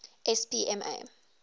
spma